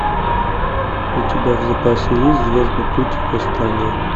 у тебя в запасе есть звездный путь восстание